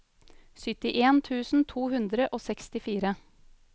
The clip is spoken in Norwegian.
syttien tusen to hundre og sekstifire